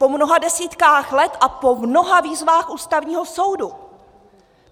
Po mnoha desítkách let a po mnoha výzvách Ústavního soudu.